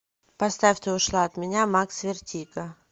поставь ты ушла от меня макс вертиго